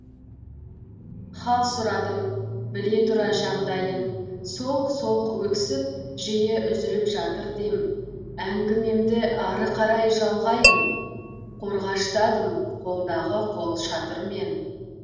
хал сұрадым біле тұра жағдайын солқ солқ өксіп жиі үзіліп жатыр дем әңгімемді ары қарай жалғайын қорғаштадым қолдағы қолшатырмен